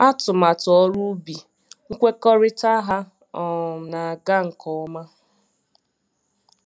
Atụmatụ ọrụ ubi nkwekọrịta ha um na-aga nke ọma.